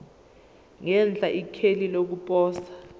ngenhla ikheli lokuposa